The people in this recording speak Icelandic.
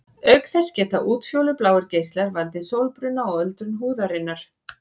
Auk þess geta útfjólubláir geislar valdið sólbruna og öldrun húðarinnar.